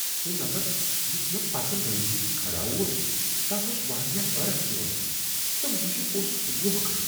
سُہ نفر یُس مےٚ پتہٕ لٲنہ منٛز کھڑا اوس، تس اوس واریاہ عرق یوان تہٕ مشک اوسس ووکھٕ۔